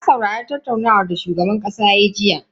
Na saurari tattaunawar da shugaban kasa ya yi jiya.